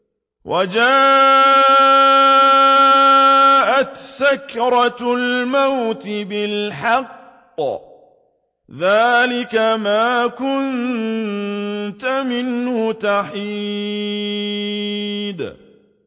وَجَاءَتْ سَكْرَةُ الْمَوْتِ بِالْحَقِّ ۖ ذَٰلِكَ مَا كُنتَ مِنْهُ تَحِيدُ